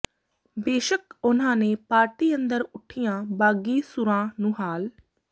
ਬੇਸ਼ੱਕ ਉਨ੍ਹਾਂ ਨੇ ਪਾਰਟੀ ਅੰਦਰ ਉੱਠੀਆਂ ਬਾਗੀ ਸੁਰਾਂ ਨੂੰ ਹਾਲ